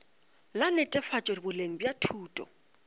la netefatšo boleng bja thuto